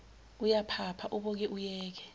uyaphapha uboke uyeke